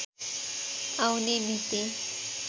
आउने मिति